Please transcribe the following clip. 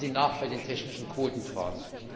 Geben Sie nach bei den technischen Quotenfragen!